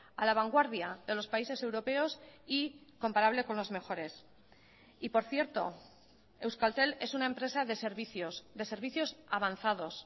a la vanguardia de los países europeos y comparable con los mejores y por cierto euskaltel es una empresa de servicios de servicios avanzados